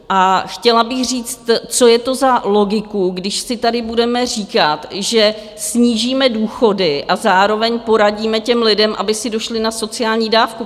A chtěla bych říct, co je to za logiku, když si tady budeme říkat, že snížíme důchody, a zároveň poradíme těm lidem, aby si došli na sociální dávku?